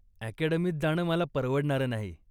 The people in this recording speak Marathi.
अकॅडमीत जाणं मला परवडणारं नाही.